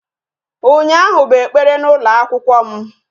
Ụnyaahụ bụ ekpere n'ụlọ akwụkwọ m